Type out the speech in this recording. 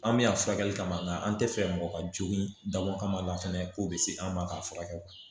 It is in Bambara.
An bɛ yan furakɛli kama an tɛ fɛ mɔgɔ ka jogin dabɔ kama la fana k'o bɛ se an ma k'a furakɛ